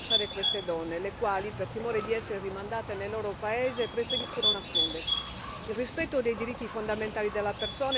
Persino le ONG hanno difficoltà a rintracciare queste donne, le quali, per timore di essere rimandate nel loro paese, preferiscono nascondersi.